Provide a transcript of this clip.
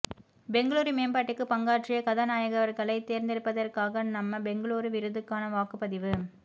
பெங்களூரு மேம்பாட்டுக்கு பங்காற்றிய கதாநாயகர்களைத் தேர்ந்தெடுப்பதற்கான நம்ம பெங்களூரு விருதுக்கான வாக்குப்பதிவு